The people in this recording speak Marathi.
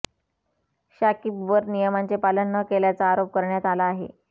शाकिबवर नियमांचे पालन न केल्याचा आरोप करण्यात आला आहे